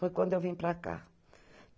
Foi quando eu vim para cá.